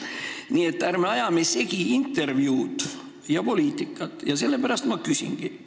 Nii et ärme ajame segi intervjuud ja poliitikat ning sellepärast ma praegu ka küsin.